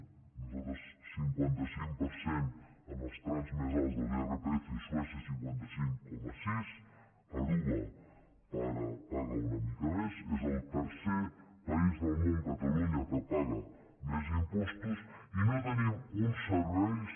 nosaltres cinquanta cinc per cent en els trams més alts de l’irpf suècia cinquanta cinc coma sis aruba paga una mica més és el tercer país del món catalunya que paga més impostos i no tenim uns serveis